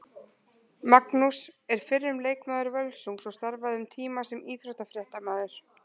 Magnús er fyrrum leikmaður Völsungs og starfaði um tíma sem íþróttafréttamaður.